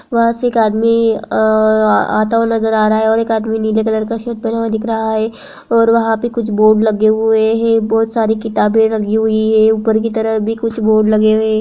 वहाँ से एक आदमी अ आता हुआ नज़र आ रहा है और एक आदमी नीले कलर का सर्ट पहना हुआ दिख रहा है। और वहाँ पे कुछ बोर्ड लगे हुए हैं बोहोत सारी किताबे लगी हुई हैं। ऊपर की तरफ़ भी कुछ बोर्ड लगे हुए --